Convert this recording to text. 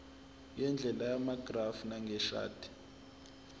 ngendlela yamagrafu njengeshadi